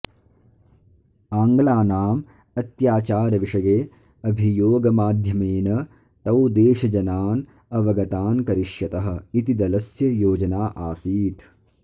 आङ्ग्लानाम् अत्याचारविषये अभियोगमाध्यमेन तौ देशजनान् अवगतान् करिष्यतः इति दलस्य योजना आसीत्